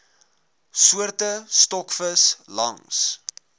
soorte stokvis langs